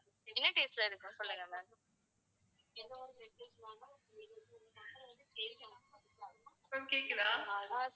ma'am கேக்குதா?